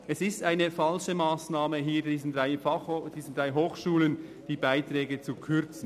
Es ist eine falsche Massnahme, diesen drei Hochschulen die Beiträge zu kürzen.